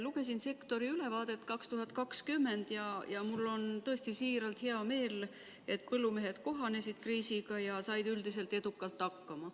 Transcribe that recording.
Lugesin sektori ülevaadet aastast 2020 ja mul on tõesti hea meel, et põllumehed kohanesid kriisiga ja said üldiselt edukalt hakkama.